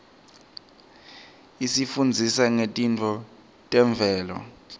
isifundzisa ngetintfo temvelo